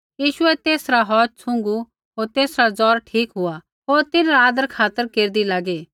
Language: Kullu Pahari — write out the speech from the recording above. यीशुऐ तेसरा हौथ छ़ुँगू होर सौ तेसरा जौर ठीक हुआ होर तिन्हरा आदरखातर केरदी लागी